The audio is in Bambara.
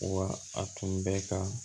Wa a tun bɛ ka